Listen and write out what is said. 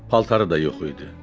Paltarı da yox idi.